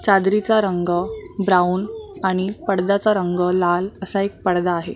चादरीचा रंग ब्राऊन आणि पडद्याचा रंग लाल असा एक पडदा आहे.